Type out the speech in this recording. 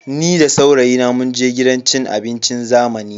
Ni da saurayina munje gidan cin abincin zamani.